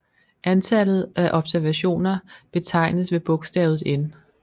Antallet af observationer betegnes ved bogstavet n